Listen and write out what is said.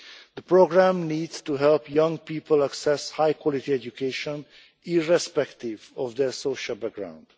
The programme needs to help young people access high quality education, irrespective of their social background.